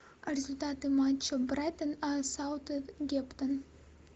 результаты матча брайтон саутгемптон